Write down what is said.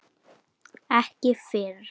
Ekki fyrr!